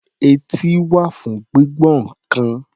Etí wà fún gbígbọ́ nǹkan.